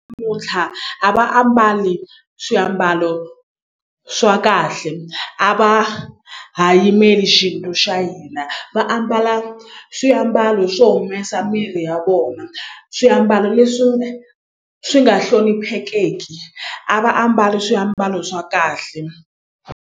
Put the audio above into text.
a va ambali swiambalo swa kahle a va ha yimeli xinto xa hina va ambala swiambalo swo humesa miri ya vona swiambalo leswi swi nga hloniphekeki a va ambali swiambalo swa kahle.